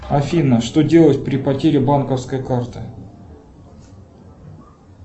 афина что делать при потере банковской карты